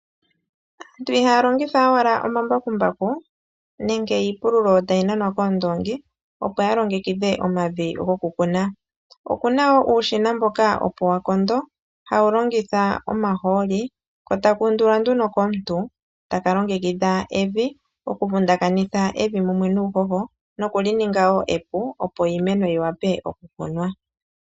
Aantu ihaya longitha owala omambakumbaku nenge iipululo tayi nanwa koondoongi opo ya longekidhe omavi go ku kuna, okuna woo uushina mboka opo wa kondo hawu longitha omahooli ko taka undulwa nduno komuntu taka longekidha evi okuvundakitha evi mumwe nuuhoho nokulininga woo epu opo iimeno yi wape okukunwa.